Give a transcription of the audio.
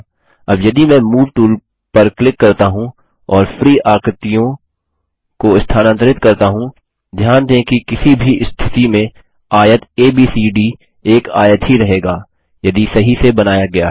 अब यदि मैं मूव टूल पर क्लिक करता हूँ और फ्री आकृतियों को स्थानांतरित करता हूँ ध्यान दें कि किसी भी स्थिति में आयत एबीसीडी एक आयत ही रहेगा यदि सही से बनाया गया है